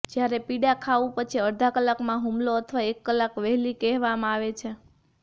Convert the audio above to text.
જ્યારે પીડા ખાવું પછી અડધા કલાકમાં હુમલો અથવા એક કલાક વહેલી કહેવામાં આવે છે